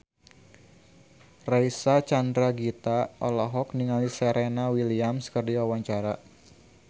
Reysa Chandragitta olohok ningali Serena Williams keur diwawancara